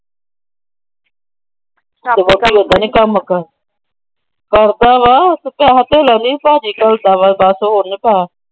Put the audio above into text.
ਤੇ ਵਹੁਟੀ ਓਦੇਂ ਨਹੀਂ ਕੰਮ ਕਰ। ਕਰਦਾ ਵਾ। ਪੈਸੇ ਧੇਲਾ ਨਹੀਂ ਭਾਜੀ ਘੱਲਦਾ ਵਾ।